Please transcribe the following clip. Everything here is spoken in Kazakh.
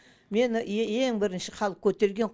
мені ең бірінші халық көтерген